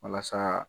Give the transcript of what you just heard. Walasa